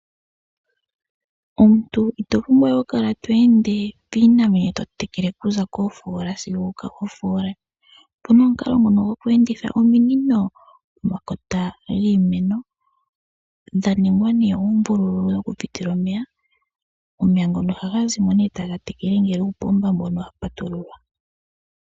Omuntu ito pumbwa okukala to ende piimeno to yi tekele okuza koofoola sigo okofoola. Opu na omukalo ngoka goku enditha ominino pomakota giimeno dha ningwa nduno uumbululu wokupitila omeya. Omeya ngoka ohaga zi mo taga tekele ngele uupomba wa patululwa.